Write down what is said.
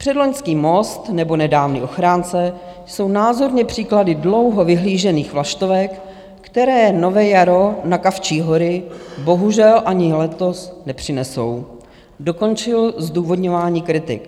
Předloňský Most nebo nedávný Ochránce jsou názorné příklady dlouho vyhlížených vlaštovek, které nové jaro na Kavčí hory bohužel ani letos nepřinesou, dokončil zdůvodňování kritik.